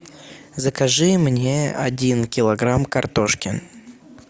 закажи мне один килограмм картошки